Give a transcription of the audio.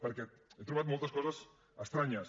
perquè he trobat moltes coses estranyes